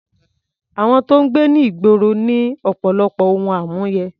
Àwọn tó ń gbé ní ìgboro ní ọ̀pọ̀lọpọ̀ ohun àmúyẹ.